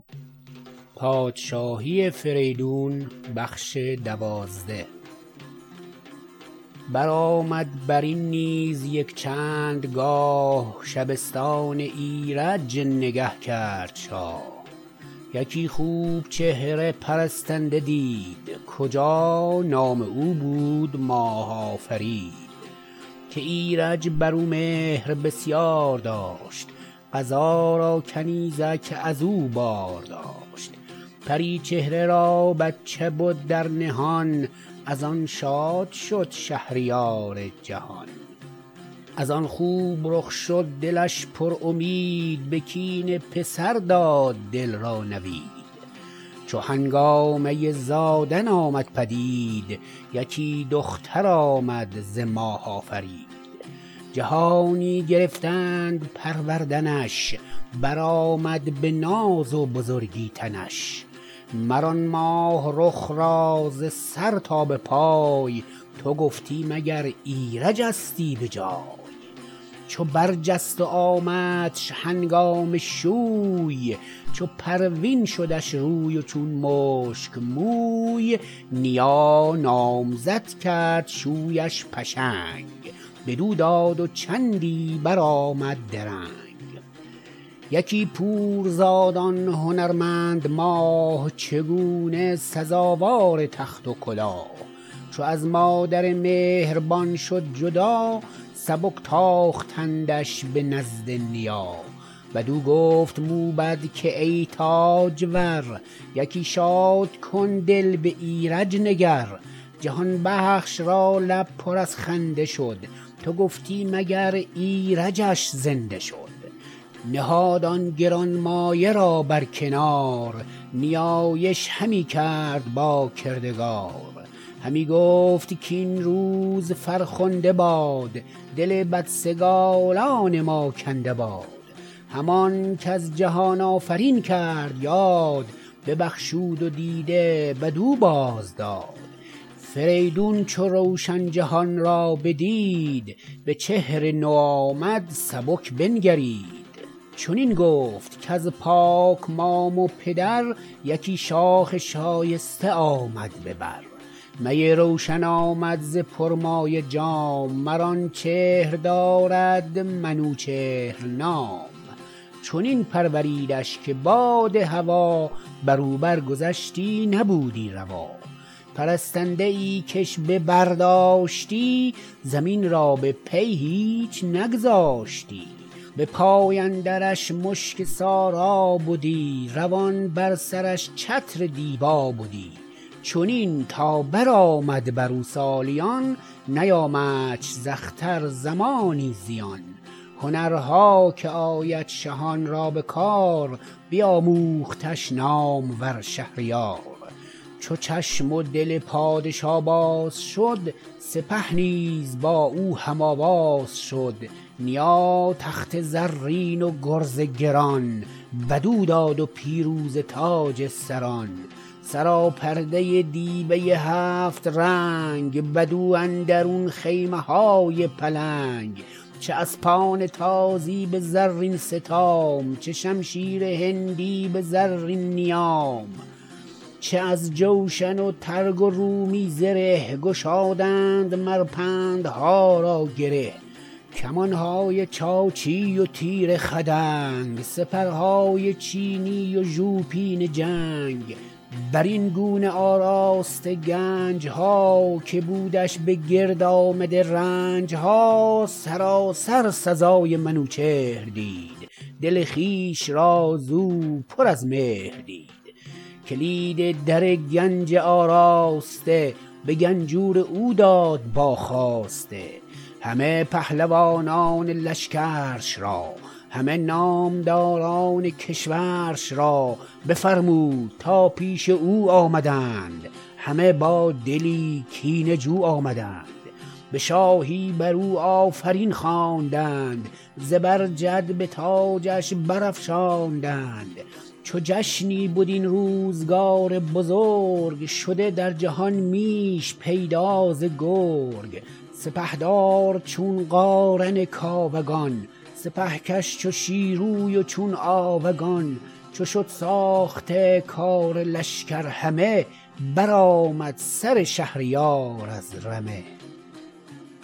برآمد برین نیز یک چندگاه شبستان ایرج نگه کرد شاه یکی خوب و چهره پرستنده دید کجا نام او بود ماه آفرید که ایرج برو مهر بسیار داشت قضا را کنیزک ازو بار داشت پری چهره را بچه بود در نهان از آن شاد شد شهریار جهان از آن خوب رخ شد دلش پرامید به کین پسر داد دل را نوید چو هنگامه زادن آمد پدید یکی دختر آمد ز ماه آفرید جهانی گرفتند پروردنش برآمد به ناز و بزرگی تنش مر آن ماه رخ را ز سر تا به پای تو گفتی مگر ایرجستی به جای چو بر جست و آمدش هنگام شوی چو پروین شدش روی و چون مشک موی نیا نامزد کرد شویش پشنگ بدو داد و چندی برآمد درنگ یکی پور زاد آن هنرمند ماه چگونه سزاوار تخت و کلاه چو از مادر مهربان شد جدا سبک تاختندش به نزد نیا بدو گفت موبد که ای تاجور یکی شادکن دل به ایرج نگر جهان بخش را لب پر از خنده شد تو گفتی مگر ایرجش زنده شد نهاد آن گرانمایه را برکنار نیایش همی کرد با کردگار همی گفت کاین روز فرخنده باد دل بدسگالان ما کنده باد همان کز جهان آفرین کرد یاد ببخشود و دیده بدو باز داد فریدون چو روشن جهان را بدید به چهر نوآمد سبک بنگرید چنین گفت کز پاک مام و پدر یکی شاخ شایسته آمد به بر می روشن آمد ز پرمایه جام مر آن چهر دارد منوچهر نام چنان پروریدش که باد هوا برو بر گذشتی نبودی روا پرستنده ای کش به بر داشتی زمین را به پی هیچ نگذاشتی به پای اندرش مشک سارا بدی روان بر سرش چتر دیبا بدی چنین تا برآمد برو سالیان نیامدش ز اختر زمانی زیان هنرها که آید شهان را به کار بیاموختش نامور شهریار چو چشم و دل پادشا باز شد سپه نیز با او هم آواز شد نیا تخت زرین و گرز گران بدو داد و پیروزه تاج سران سراپرده دیبه هفت رنگ بدو اندرون خیمه های پلنگ چه اسپان تازی به زرین ستام چه شمشیر هندی به زرین نیام چه از جوشن و ترگ و رومی زره گشادند مر بندها را گره کمانهای چاچی وتیر خدنگ سپرهای چینی و ژوپین جنگ برین گونه آراسته گنجها که بودش به گرد آمده رنجها سراسر سزای منوچهر دید دل خویش را زو پر از مهر دید کلید در گنج آراسته به گنجور او داد با خواسته همه پهلوانان لشکرش را همه نامداران کشورش را بفرمود تا پیش او آمدند همه با دلی کینه جو آمدند به شاهی برو آفرین خواندند زبرجد به تاجش برافشاندند چو جشنی بد این روزگار بزرگ شده در جهان میش پیدا ز گرگ سپهدار چون قارن کاوگان سپهکش چو شیروی و چون آوگان چو شد ساخته کار لشکر همه برآمد سر شهریار از رمه